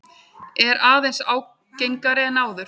Er aðeins ágengari en áður.